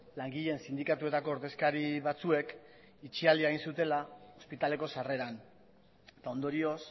langileen sindikatuetako ordezkari batzuek itxialdia egin zutela ospitaleko sarreran eta ondorioz